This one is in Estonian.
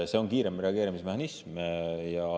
See on kiirem reageerimismehhanism.